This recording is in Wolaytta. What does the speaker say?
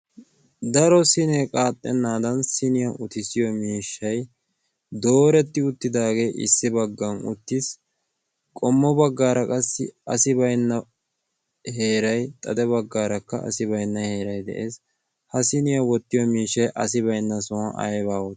daro sinee qaaxxennaadan siniyaa utissiyo miishshay dooretti uttidaagee issi baggan uttiis. qommo baggaara qassi asi bainna heeray xade baggaarakka asi bainna heeray de'ees. ha siniyaa wottiyo miishshay asi baynna sowaa aybaa?